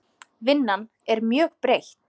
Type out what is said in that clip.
Vinnan er mjög breytt.